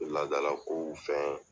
Laadala kow fɛn